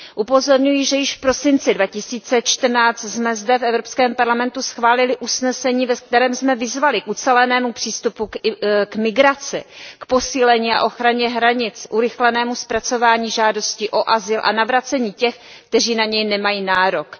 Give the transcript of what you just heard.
Upozorňuji, že již v prosinci 2014 jsme zde v Evropském parlamentu schválili usnesení, ve kterém jsme vyzvali k ucelenému přístupu k migraci, k posílení a ochraně hranic, urychlenému zpracování žádostí o azyl a navrácení těch, kteří na něj nemají nárok.